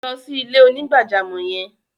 Lọ sí ilẹ̀-onígbàjàmọ́ yẹn!